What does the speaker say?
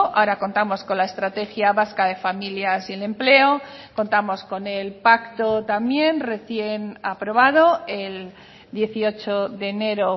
ahora contamos con la estrategia vasca de familias y el empleo contamos con el pacto también recién aprobado el dieciocho de enero